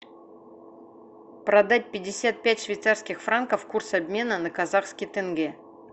продать пятьдесят пять швейцарских франков курс обмена на казахский тенге